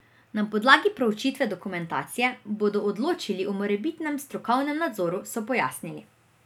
Na podlagi proučitve dokumentacije bodo odločili o morebitnem strokovnem nadzoru, so pojasnili.